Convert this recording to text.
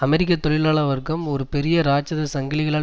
அமெரிக்க தொழிலாள வர்க்கம் ஒரு பெரிய இராட்சத சங்கிலிகளால்